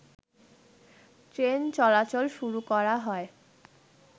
train চলাচল শুরু করা হয়